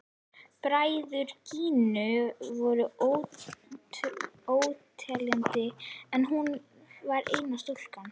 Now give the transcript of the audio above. Bræður Gínu voru óteljandi en hún var eina stúlkan.